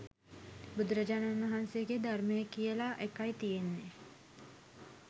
බුදුරජාණන් වහන්සේගේ ධර්මය කියලා එකයි තියෙන්නේ